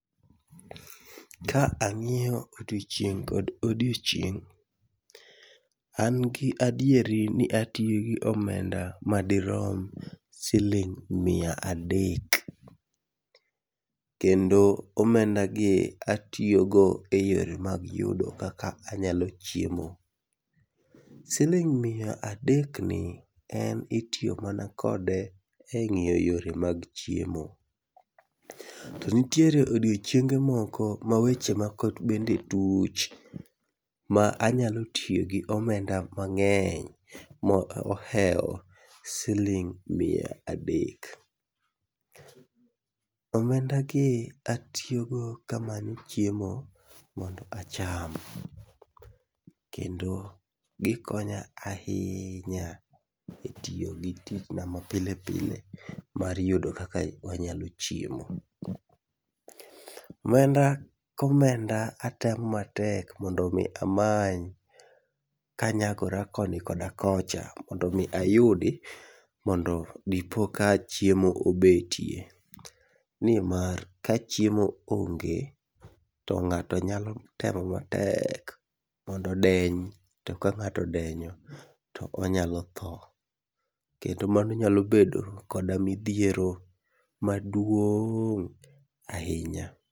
Ka ang'iyo odiochieng' kod odiochieng', an gi adieri n atiyo gi omenda madirom siling' mia adek. Kendo omendagi atiyogo e yore mag yudo kaka anyalo chiemo. Siling mia adekni en itiyo mana kode e ng'iyo yore mag chiemo. To nitie odiochienge moko ma weche moko bende tuch ma anyalo tiyo gi omenda mang'eny, mo ohewo siling' mia adek. Omendagi atiyogo kamanyo chiemo mondo acham, kendo gikonya ahinya, e tiyo gi tichna ma pile pile e yudo kaka wanyalo chiemo. Omenda komenda atemo matek mondo mi amany kanyagora koni koda kocha, mondo mi ayudi mondo dipo ka chiemo obetie. Nimar kachiemo onge to ng'ato nyalo temo matek mondo deny, to ka ng'ato odenyo, to onyalo tho. Kendo mano nyalo bedo koda midhiero maduong' ahinya.